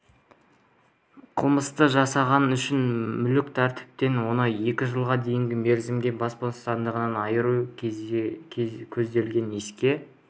қылмысты жасағаны үшін мүлкі тәркіленіп он екі жылға дейінгі мерзімге бас бостандығынан айыру көзделгенін еске